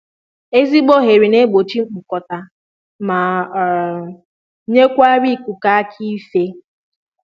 Ezigbo oghere n'egbochi mkpụkọta ma um nyekwara ikuku aka ife